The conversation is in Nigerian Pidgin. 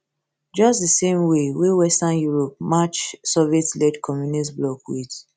just di same way wey western europe match sovietled communist bloc wit